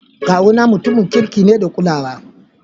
Kawu na mutumu ne mai kirki da kulawa.